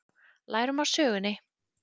Lærum af sögunni